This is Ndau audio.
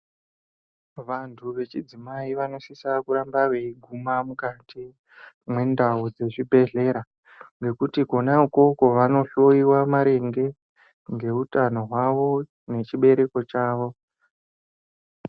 Vantu vechidzimai vanosisa kuramba veyiguma mukati mwendau dzezvibhehlera nekuti kona ikoko vanohloyiwa maringe ngeutano hwavo nechibereko chavo.